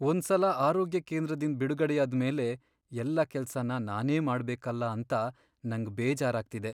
ಒಂದ್ ಸಲ ಆರೋಗ್ಯ ಕೇಂದ್ರದಿಂದ್ ಬಿಡುಗಡೆಯಾದ್ ಮೇಲೆ ಎಲ್ಲ ಕೆಲ್ಸನ ನಾನೇ ಮಾಡ್ಬೇಕಲ್ಲ ಅಂತ ನಂಗ್ ಬೇಜಾರಾಗ್ತಿದೆ.